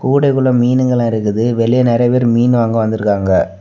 கூடைகுள்ள மீனுங்களா இருக்குது வெளிய நெறைய பேர் மீன் வாங்க வந்துருக்காங்க.